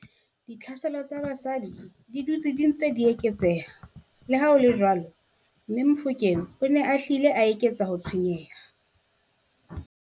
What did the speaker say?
Ditlhaselo tsa basadi di dutse di ntse di eketseha, leha ho le jwalo, mme Mofokeng o ne a hlile a eketsa ho tshwenyeha.